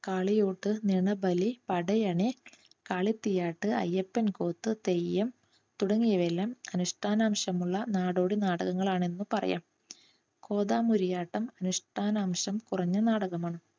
കാളിയൊട്ടു, നിണബലി, പടയണി, കാളി തീയ്യാട്ട്, അയ്യപ്പൻ കൂത്ത്, തെയ്യം തുടങ്ങിയവയെല്ലാം അനുഷ്ഠാന അംശങ്ങളുള്ള നാടോടി നാടകങ്ങളാണെന്ന് പറയാം. കോതാമൂരി ആട്ടം അനുഷ്ഠാന അംശം കുറഞ്ഞ നാടകമാണ്.